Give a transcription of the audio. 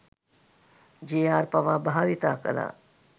J R පවා භාවිතා කළා..